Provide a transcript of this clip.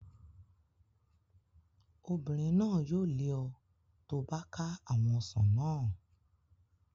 Obìnrin náà yóò lé ọ tó bá ká àwọn ọsàn naa